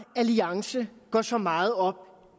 alliance går så meget op